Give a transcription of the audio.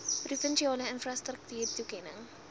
provinsiale infrastruktuur toekennings